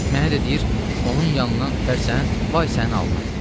Mənə də deyir: onun yanından ötərsən, vay sənin alnına.